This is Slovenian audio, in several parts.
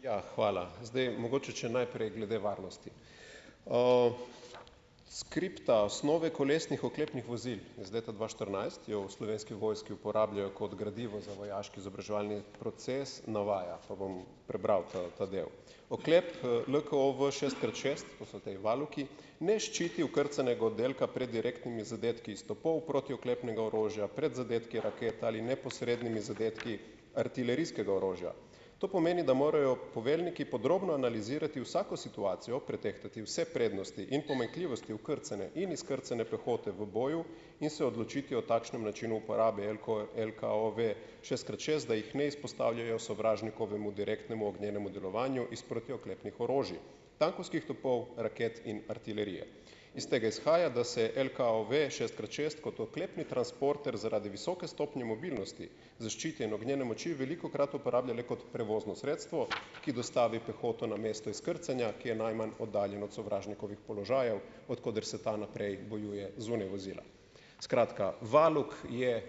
Ja. Hvala. Zdaj mogoče če najprej glede varnosti. Skripta Osnove kolesnih oklepnih vozil iz leta dva štirinajst, jo v Slovenski vojski uporabljajo kot gradivo za vojaški izobraževalni proces, navaja, pa bom prebral ta ta del: "Oklep, LKOV šest krat šest, to so ti valuki, ne ščiti okrcanega oddelka pred direktnimi zadetki iz topov protioklepnega orožja pred zadetki raket ali neposrednimi zadetki artilerijskega orožja. To pomeni, da morajo poveljniki podrobno analizirati vsako situacijo, pretehtati vse prednosti in pomanjkljivosti vkrcanja in izkrcanja pehote v boju in se odločiti o takšnem načinu uporabe LKOV šest krat šest, da jih ne izpostavljajo sovražnikovemu direktnemu ognjenemu delovanju iz protioklepnih orožij, tankovskih topov, raket in artilerije. Iz tega izhaja, da se LKOV šest krat šest kot oklepni transporter zaradi visoke stopnje mobilnosti zaščite in ognjene moči velikokrat uporablja le kot prevozno sredstvo, ki dostavi pehoto na mesto izkrcanja, ki je najmanj oddaljen od sovražnikovih položajev, od koder se ta naprej bojuje zunaj vozila." Skratka, valuk je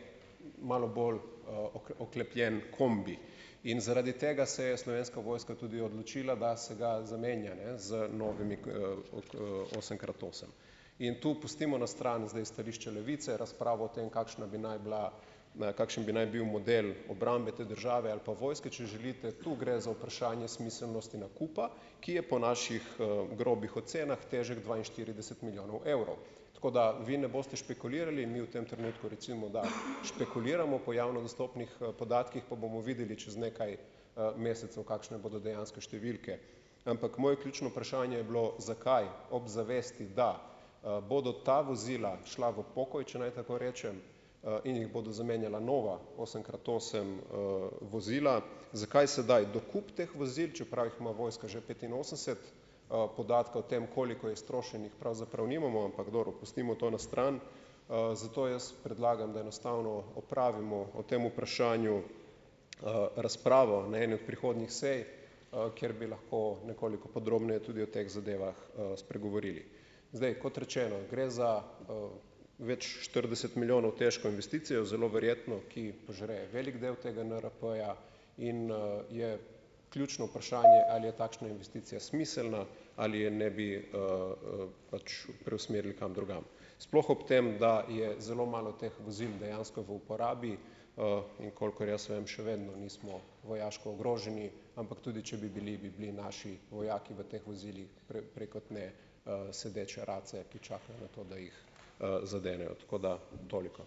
malo bolj, oklepljen kombi in zaradi tega se je Slovenska vojska tudi odločila, da se ga zamenja, z novimi osem krat osem. In to pustimo na stran zdaj stališče Levice, razpravo o tem, kakšna bi naj bila, kakšen bi naj bil model obrambe te države ali pa vojske, če želite. Tu gre za vprašanje smiselnosti nakupa, ki je po naših, grobih ocenah, težek dvainštirideset milijonov evrov. Tako da vi ne boste špekulirali. Mi v tem trenutku, recimo, da špekuliramo po javno dostopnih, podatkih pa bomo videli čez nekaj, mesecev, kakšne bodo dejanske številke, ampak moje ključno vprašanje je bilo, zakaj ob zavesti, da, bodo ta vozila šla v pokoj, če naj tako rečem, in jih bodo zamenjala nova osem krat osem, vozila, zakaj sedaj dokup teh vozil, čeprav jih ima vojska že petinosemdeset, podatka o tem, koliko je iztrošenih, pravzaprav nimamo, ampak dobro, pustimo to na stran, zato jaz predlagam, da enostavno opravimo o tem vprašanju, razpravo na eni od prihodnjih sej, kjer bi lahko nekoliko podrobneje tudi o teh zadevah, spregovorili. Zdaj, kot rečeno, gre za, več štirideset milijonov težko investicijo, zelo verjetno, ki požre veliko delo tega NRP-ja in, je ključno vprašanje, ali je takšna investicija smiselna, ali je ne bi, preusmerili kam drugam. Sploh ob tem, da je zelo malo teh vozil dejansko v uporabi, in kolikor jaz vem, še vedno nismo vojaško ogroženi, ampak tudi če bi bili, bi bili naši vojaki v teh vozilih prej kot ne, sedeče race, ki čakajo na to, da jih, zadenejo. Tako da toliko.